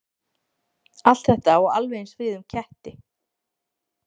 Allt þetta á alveg eins við um ketti.